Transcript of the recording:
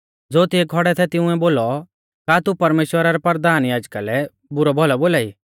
ज़ो तिऐ खौड़ै थै तिंउऐ बोलौ का तू परमेश्‍वरा रै परधान याजका लै बुरौभौलौ बोलाई